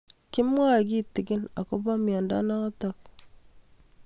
Kimwae kitig'in akopo miondo notok